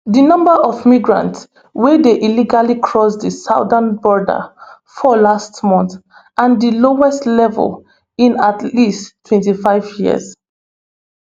di number of migrants wey dey illegally cross di southern border fall last month to di lowest level in at least twenty-five years